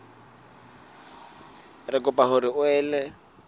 re kopa hore o ele